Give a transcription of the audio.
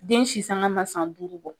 Den sisanga ma san duuru bɔ.